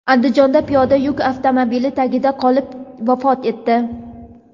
Andijonda piyoda yuk avtomobili tagida qolib vafot etdi.